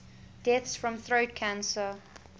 deaths from throat cancer